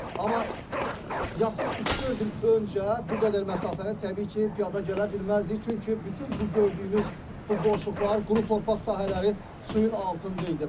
Amma yaxın üç-dörd il öncə bu qədər məsafəni təbii ki, piyada gələ bilməzdik, çünki bütün bu gördüyünüz bu boşluqlar, quru torpaq sahələri suyun altında idi.